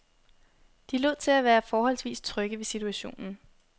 De lod til at være forholdsvis trygge ved situationen.